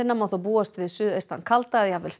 má þó búast við suðaustan kalda eða jafnvel